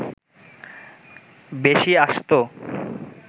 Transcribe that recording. বেশি আসত